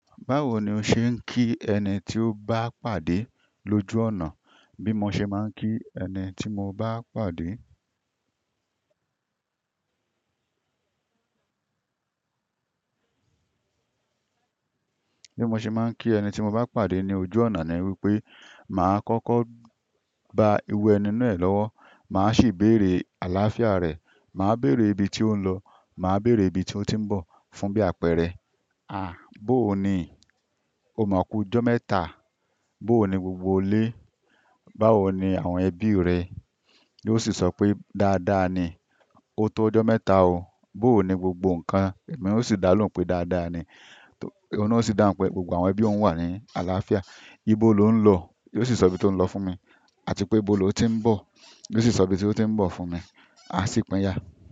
Báwo ni o ṣe ń kí ẹni tí o bá pàdé lójú ọ̀nà? Bí mo ṣe máa ń kí ẹni tí mo bá pàdé, bí mo ṣe máa ń kí ẹni tí mo bá pàdé ní ojú ọ̀nà ni wípé, màá kọ́kọ́ bọ iru ẹni náà lọ́wọ́, màá sì béèrè àlàáfíà rẹ̀, màá béèrè ibi tí ó ń lọ, màá béèrè ibi tí ó ti ń bọ̀. Fún bí àpẹẹrẹ, "à, bóò ni? O mọ̀ ku'jọ mẹ́ta? Bóò ni gbogbo ile? Báwo ni àwọn ẹbí rẹ?" Yóò sì sọ pé, "dáadáa ni, o tó ọjọ́ mẹ́ta o." "Bóò ni gbogbo nǹkan?" Ẹ̀mí ò si dá lóhùn pé, "dáadáa ni." Òhun náà o sì dáhùn pé, "gbogbo àwọn ẹbí òun wà ní àlàáfíà." "Ibo lo ń lọ?" Yóò sì sọ ibi tí ó ń lọ fún mi. Àti pé, "ibo lo ti ń bọ̀?" Yóò sì sọ ibi tí ó ti ń bọ̀ fún mi. A sì pínyà.